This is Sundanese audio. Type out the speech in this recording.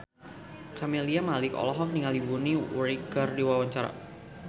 Camelia Malik olohok ningali Bonnie Wright keur diwawancara